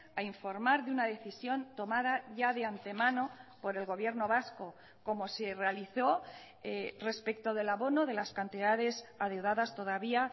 a informar de una decisión tomada ya de antemano por el gobierno vasco como se realizó respecto del abono de las cantidades adeudadas todavía